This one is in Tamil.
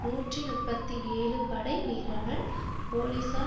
நூற்றி முப்பத்தி ஏழு படை வீரர்கள் போலீசார்